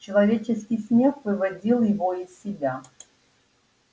человеческий смех выводил его из себя